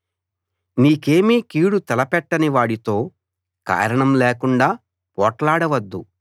నీకేమీ కీడు తలపెట్టని వాడితో కారణం లేకుండా పోట్లాడవద్దు